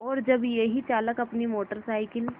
और जब यही चालक अपनी मोटर साइकिल